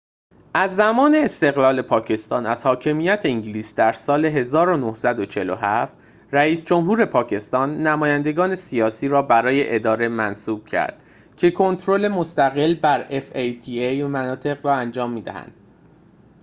از زمان استقلال پاکستان از حاکمیت انگلیس در سال ۱۹۴۷ رئیس جمهور پاکستان نمایندگان سیاسی را برای اداره fata منصوب کرد که کنترل مستقل بر مناطق را انجام می‌دهد